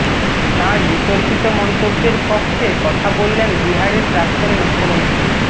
তাঁর বিতর্কিত মন্তব্যের পক্ষে কথা বললেন বিহারের প্রাক্তন মুখ্যমন্ত্রী